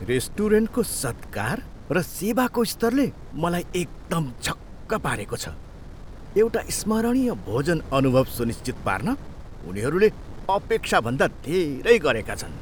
रेस्टुरेन्टको सत्कार र सेवाको स्तरले मलाई एकदम छक्क पारेको छ, एउटा स्मरणीय भोजन अनुभव सुनिश्चित पार्न उनीहरूले अपेक्षाभन्दा धेरै गरेका छन्।